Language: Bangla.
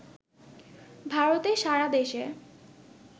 ভারতে সারা দেশে